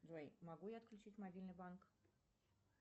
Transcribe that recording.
джой могу я отключить мобильный банк